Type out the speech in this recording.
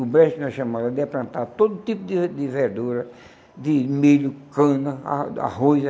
O brancho, na chamada, ia plantar todo tipo de ver de verdura, de milho, cana, a arroz.